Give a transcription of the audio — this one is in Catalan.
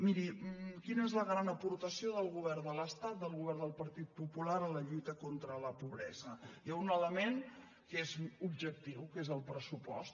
miri quina és la gran aportació del govern de l’estat del govern del partit popular en la lluita contra la pobresa hi ha un element que és objectiu que és el pressupost